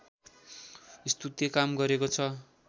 स्तुत्य काम गरेको छ